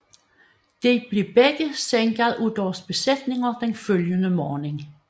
De blev begge sænket af deres besætninger den følgende morgen